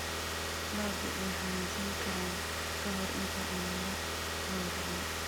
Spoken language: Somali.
Lo'du way xanuunsan karaan ka hor inta aan la gowracin.